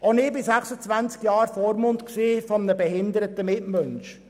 Auch ich war während 26 Jahren Vormund eines behinderten Mitmenschen.